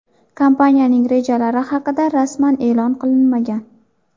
Kompaniyaning rejalari haqida rasman e’lon qilinmagan.